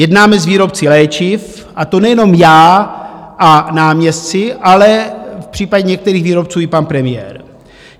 Jednáme s výrobci léčiv, a to nejenom já a náměstci, ale v případě některých výrobců i pan premiér.